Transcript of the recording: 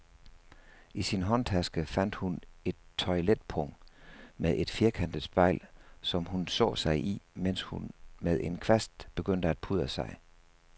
I sin håndtaske fandt hun et toiletpung med et firkantet spejl, som hun så sig i, mens hun med en kvast begyndte at pudre sig.